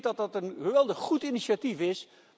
Ik denk dat dat een geweldig goed initiatief is.